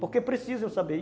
Porque precisa eu saber.